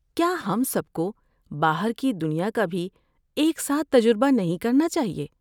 کیا ہم سب کو باہر کی دنیا کا بھی ایک ساتھ تجربہ نہیں کرنا چاہیے؟